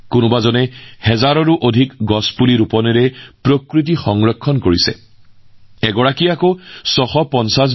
একাংশ হাজাৰ হাজাৰ গছপুলি ৰোপণ কৰি প্ৰকৃতি সংৰক্ষণৰ প্ৰচেষ্টাত নিয়োজিত